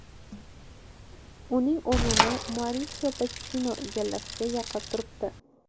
Uning o‘rnini Maurisio Pochettino egallashga yaqin turibdi.